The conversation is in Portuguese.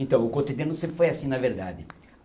Então, o cotidiano sempre foi assim, na verdade.